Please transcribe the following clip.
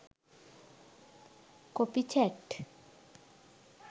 copy chat